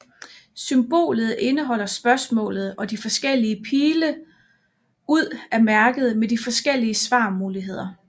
Symbolet indeholder spørgsmålet og de forskellige pile ud er mærket med de forskellige svarmuligheder